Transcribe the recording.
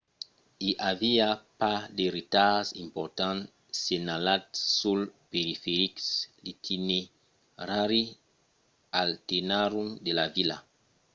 i aviá pas de retards importants senhalats sul periferic l'itinerari alternatiu de la vila